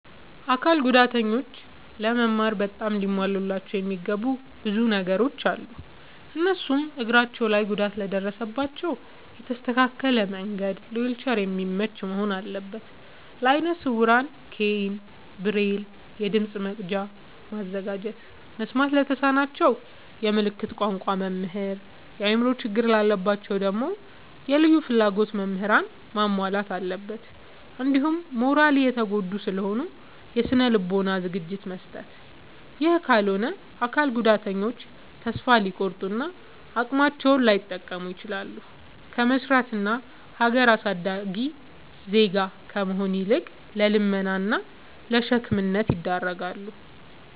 አካል ጉዳተኞች ለመማር በጣም ሊሟሉላቸው የሚገቡ ብዙ ነገሮ አሉ። እነሱም፦ እግራቸው ላይ ጉዳት ለደረሰባቸው የተስተካከለ መንድ ለዊልቸር የሚመች መሆን አለበት። ለአይነ ስውራን ኬይን፣ ብሬል፤ የድምፅ መቅጃ ማዘጋጀት፤ መስማት ለተሳናቸው የምልክት ቋንቋ መምህር፤ የአእምሮ ችግር ላለባቸው ደግሞ የልዩ ፍላጎት ምህራንን ማሟላት አለብትን። እንዲሁም ማራሊ የተጎዱ ስለሆኑ የስነ ልቦና ዝግጅት መስጠት። ይህ ካልሆነ አካል ጉዳተኞች ተሰፋ ሊቆርጡ እና አቅማቸውን ላይጠቀሙ ይችላሉ። ከመስራት እና ሀገር አሳዳጊ ዜጋ ከመሆን ይልቅ ለልመና እና ለሸክምነት ይዳረጋሉ።